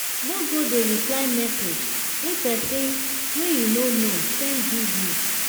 no go dey reply message wey pesin wey you no know send give you.